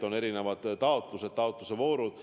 On erinevad taotlused ja taotlusvoorud.